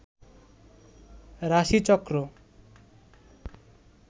রাশিচক্র